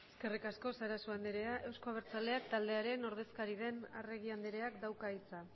eskerrik asko sarasua euzko abertzaleak taldearen ordezkaria den arregi andereak dauka hitza